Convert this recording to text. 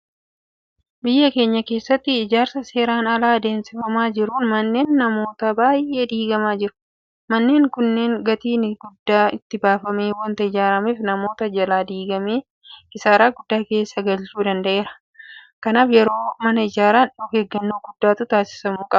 Biyya keenya keessatti ijaarsa seeraan alaa adeemsifamaa jiruun manneen namoota baay'ee diigamaa jiru. Manneen kunneen gatiin guddaan itti baafamee waanta ijaarameef namoota jalaa diigame kisaaraa guddaa keessa galchuu danda'eera. Kanaaf yeroo mana ijaaran ofeeggannoo guddaa taasisuu qabu.